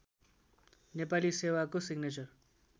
नेपाली सेवाको सिग्नेचर